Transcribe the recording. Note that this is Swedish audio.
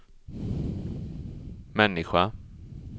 människa